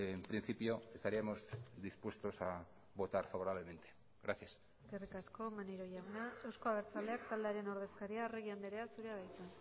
en principio estaríamos dispuestos a votar favorablemente gracias eskerrik asko maneiro jauna euzko abertzaleak taldearen ordezkaria arregi andrea zurea da hitza